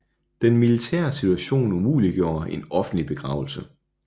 Den militære situation umuliggjorde en offentlig begravelse